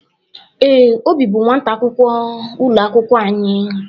Ee, Obi bụ nwata akwụkwọ ụlọ akwụkwọ anyị.